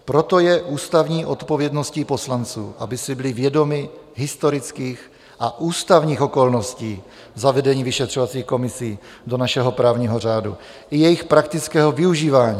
Proto je ústavní odpovědností poslanců, aby si byli vědomi historických a ústavních okolností zavedení vyšetřovacích komisí do našeho právního řádu i jejich praktického využívání.